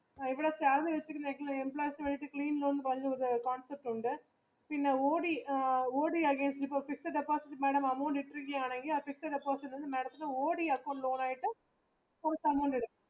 ഇവിടെ salary ഉണ്ട് ഉ ഇപ്പോ fifth deposit ഇടുക്കുകയാണെങ്കിൽ madam ത്തിന് OD അക്കൗണ്ട് ഓണാക്കിയിട്ട് ഒരു